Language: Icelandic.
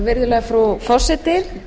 virðulega frú forseti